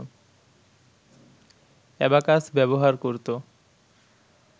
abacus ব্যবহার করত